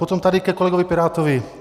Potom tady ke kolegovi pirátovi.